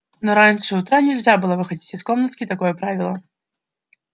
но раньше утра нельзя было выходить из комнатки такое правило